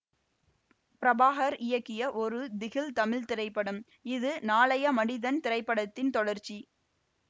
பிரபாகர் இயக்கிய ஒரு திகில் தமிழ் திரைப்படம் இது நாளைய மனிதன் திரைப்படத்தின் தொடர்ச்சி